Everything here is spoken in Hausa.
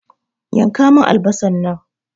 Yanka mun albasar nan!